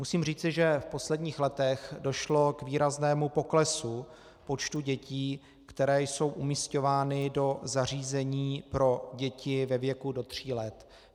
Musím říci, že v posledních letech došlo k výraznému poklesu počtu dětí, které jsou umísťovány do zařízení pro děti ve věku do tří let.